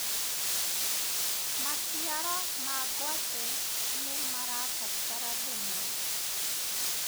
maciaro ma ngwaci nĩmarabatara thumu